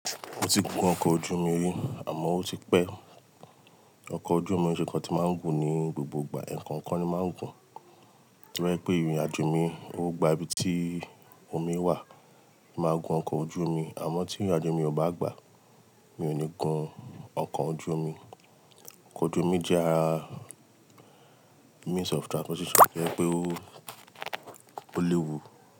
Mo ti gun ọkọ̀ ojú omi àmọ́ ó ti pẹ́. Ọkọ̀ ojú omi o n ṣe é nkan tí máa ń gun ní gbogbo ìgbà, ẹ̀ẹ̀kan kọ̀ọ̀kan ni máa ń gun. Torí pé ìrìnàjò mi, ọ gbà ibi tí omi wà, màá gun ọkọ̀ ojú omi. Àmọ́ tí ìrìnàjò mi ò bá gbà, mi ò ní gun ọkọ̀ ojú omi. Ọkọ̀ ojú omi jẹ́ ara means of transportation kí ó pè o, o le wú.